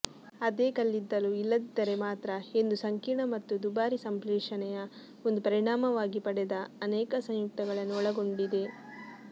ಅದೇ ಕಲ್ಲಿದ್ದಲು ಇಲ್ಲದಿದ್ದರೆ ಮಾತ್ರ ಎಂದು ಸಂಕೀರ್ಣ ಮತ್ತು ದುಬಾರಿ ಸಂಶ್ಲೇಷಣೆಯ ಒಂದು ಪರಿಣಾಮವಾಗಿ ಪಡೆದ ಅನೇಕ ಸಂಯುಕ್ತಗಳನ್ನು ಒಳಗೊಂಡಿದೆ